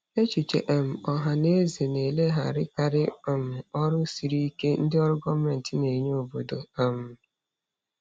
Echiche um ọha na eze na-elegharakarị um ọrụ siri ike ndị ọrụ gọọmentị na-enye n'obodo. um